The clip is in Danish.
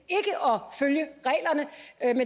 er en